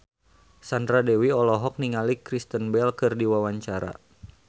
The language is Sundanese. Sandra Dewi olohok ningali Kristen Bell keur diwawancara